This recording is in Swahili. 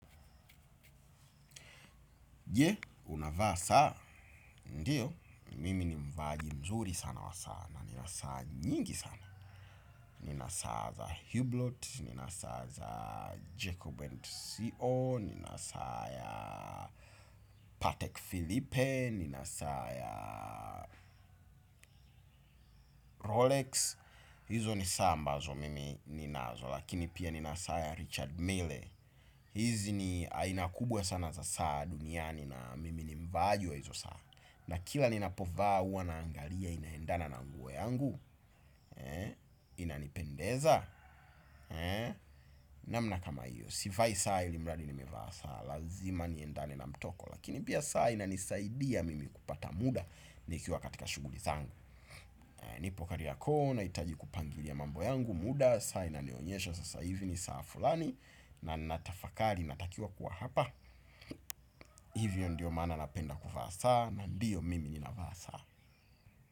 Je, unavaa saa, ndiyo, mimi ni mvaaji mzuri sana wa saa na, nina saa nyingi sana. Nina saa za Hublot, nina saa za Jacob and CO, nina saa ya Patek Philippe, nina saa ya Rolex. Hizo ni saa ambazo mimi ninazo, lakini pia nina saa ya Richard Mele. Hizi ni aina kubwa sana za saa duniani na mimi ni mvaaji wa hizo saa. Na kila ninapovaa huwa naangalia inaendana na nguo yangu. Inanipendeza. Namna kama hiyo, sivai saa ilimradi nimevaa saa. Lazima niendane na mtoko. Lakini pia saa inanisaidia mimi kupata muda. Nikiwa katika shuguli zangu. Nipo kariako na itaji kupangilia mambo yangu muda. Saa inanionyesha sasa hivi ni saa fulani. Na natafakari natakiwa kuwa hapa. Hivyo ndiyo maana napenda kuvaa saa. Na ndiyo mimi ninavaa saa.